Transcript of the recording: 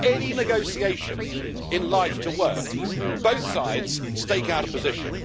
For any negotiation in life to work both sides stake out a position.